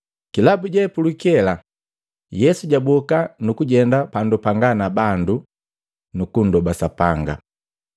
Kilabu je pulukela, Yesu jaboka nukujenda pandu panga na bandu nu kunndoba Sapanga.